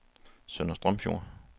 Sønder Strømfjord